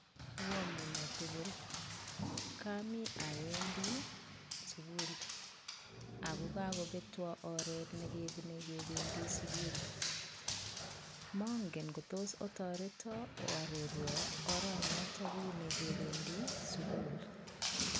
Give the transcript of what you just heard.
Oamune tugul, komi awendii sukul ako kakobetwon oret nekebunei kebendii sugul, mongen ingotos otoreton oarorwon oranotok kibune kebendii sugul.